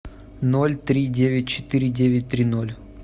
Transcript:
ноль три девять четыре девять три ноль